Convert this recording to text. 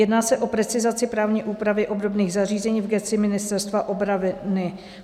Jedná se o precizaci právní úpravy obdobných zařízení v gesci Ministerstva obrany.